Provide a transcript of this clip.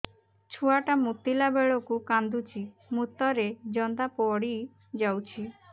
ଛୁଆ ଟା ମୁତିଲା ବେଳକୁ କାନ୍ଦୁଚି ମୁତ ରେ ଜନ୍ଦା ପଡ଼ି ଯାଉଛି